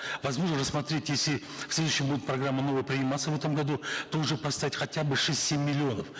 возможно рассмотреть если в следующем году программа новая приниматься в этом году то уже поставить хотя бы шесть семь миллионов